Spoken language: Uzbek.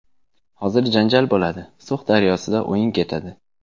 Hozir janjal bo‘ladi, So‘x daryosida o‘yin ketadi.